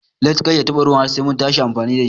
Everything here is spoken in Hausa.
Lates Kar ya taɓa ruwa har Sai muntashi amfani dashi.